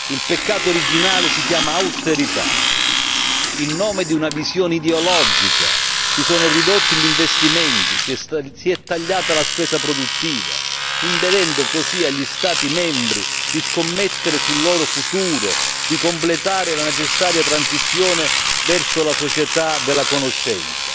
Il peccato originale si chiama austerità, in nome di una visione ideologica, si sono ridotti gli investimenti, si è tagliata la spesa produttiva, impedendo così agli Stati membri di scommettere sul loro futuro, di completare la necessaria transizione verso la società della conoscenza,